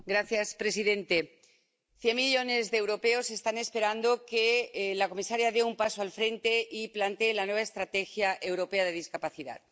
Señor presidente, cien millones de europeos están esperando que la comisaria dé un paso al frente y plantee la nueva Estrategia Europea sobre Discapacidad.